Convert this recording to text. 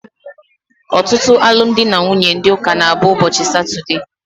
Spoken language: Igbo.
Ọtụtụ alụmdi na nwunye ndị ụka na abụ ụbọchị satude